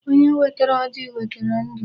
Onye wetara ọjị wetara ndụ.